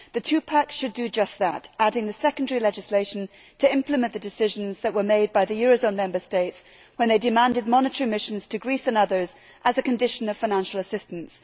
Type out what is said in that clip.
The two pack' should do just that adding the secondary legislation to implement the decisions that were made by the eurozone Member States when they demanded monetary missions to Greece and others as a condition of financial assistance.